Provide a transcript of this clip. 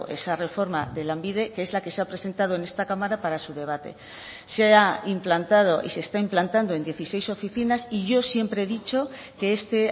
esa reforma de lanbide que es la que se ha presentado en esta cámara para su debate se ha implantado y se está implantando en dieciséis oficinas y yo siempre he dicho que este